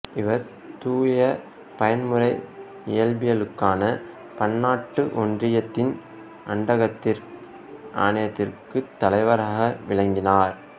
இவர் தூய பயன்முறை இயற்பியலுக்கான பன்னாட்டு ஒன்றியத்தின் அண்டக்கதிர் ஆணையத்துக்குத் தலைவராக விளங்கினார்